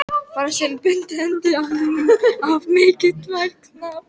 Þar með bundinn endi á mikinn tvíverknað.